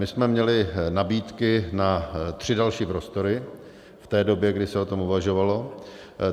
My jsme měli nabídky na tři další prostory v té době, kdy se o tom uvažovalo.